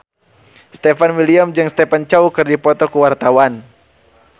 Stefan William jeung Stephen Chow keur dipoto ku wartawan